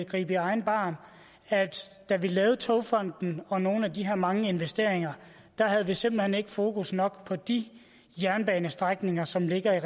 gribe i egen barm at da vi lavede togfonden og nogle af de her mange investeringer havde vi simpelt hen ikke fokus nok på de jernbanestrækninger som ligger i